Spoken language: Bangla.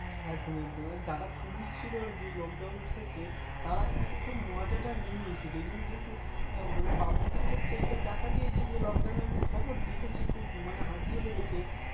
একদম একদম যারা Police ছিল আর কি Lockdown এর ক্ষেত্রে তারা কিন্তু খুব মজাটা নিয়ে নিয়েছিল দেখবেন কিন্তু Public কের ক্ষেত্রে এটা আমি খবর দেখেছি খুব মানে হাসিও লেগেছে